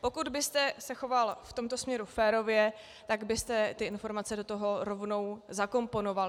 Pokud byste se choval v tomto směru férově, tak byste ty informace do toho rovnou zakomponoval.